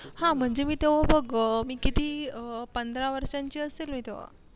हा म्हणजे मी तेव्हा बग मी किती पंधरा वर्षाची असेल मी तेव्हा.